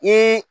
I